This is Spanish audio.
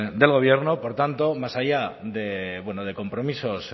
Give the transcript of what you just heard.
del gobierno por tanto más allá de compromisos